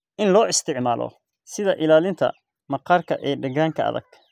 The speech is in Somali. In loo isticmaalo sida ilaalinta maqaarka ee deegaanka adag.